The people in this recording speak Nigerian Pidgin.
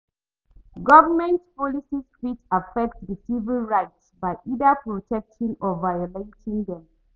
Government policies fit affect di civic rights by either protecting or violating dem.